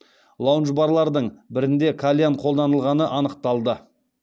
лаундж барлардың бірінде кальян қолданылғаны анықталды